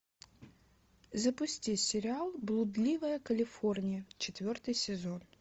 запусти сериал блудливая калифорния четвертый сезон